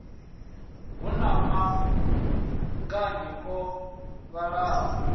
hu na maṱanganyi o vhalaho